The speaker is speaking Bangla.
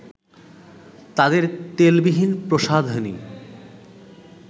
তাদের তেলবিহীন প্রসাধনী